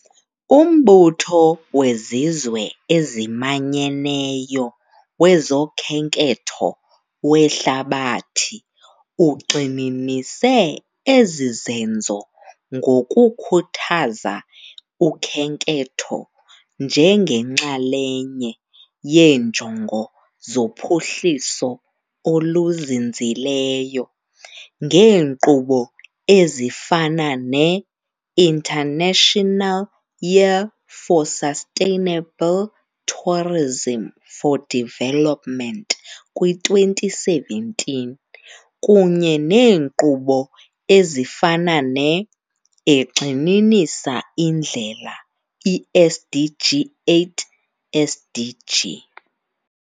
UMbutho weZizwe eziManyeneyo wezoKhenketho weHlabathi ugxininise ezi zenzo ngokukhuthaza ukhenketho njengenxalenye yeeNjongo zoPhuhliso oluZinzileyo, ngeenkqubo ezifana neInternational Year for Sustainable Tourism for Development kwi-2017, kunye neenkqubo ezifana ne- egxininisa indlela i -SDG 8, SDG.